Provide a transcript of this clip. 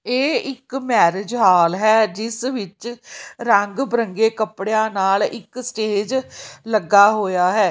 ਏਹ ਇੱਕ marriage hall ਹੈ ਜਿੱਸ ਵਿੱਚ ਰੰਗ ਬਿਰੰਗੇ ਕੱਪੜੇਯਾਂ ਨਾਲ ਇੱਕ ਸਟੇਜ ਲੱਗਾ ਹੋਇਆ ਹੈ।